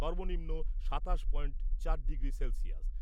সর্বনিম্ন সাতাশ পয়েন্ট চার ডিগ্রী সেলসিয়াস।